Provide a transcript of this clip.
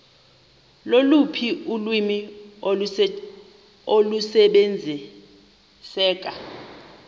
loluphi ulwimi olusebenziseka